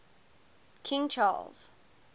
king charles